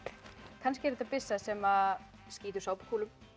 kannski er þetta byssa sem skýtur sápukúlum